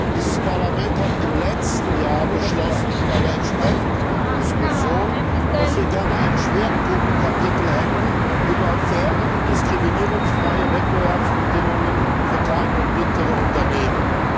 Dieses Parlament hat im letzten Jahr bei der entsprechenden Diskussion beschlossen, dass wir gerne ein Schwerpunktkapitel hätten über faire und diskriminierungsfreie Wettbewerbsbedingungen für kleine und mittlere Unternehmen.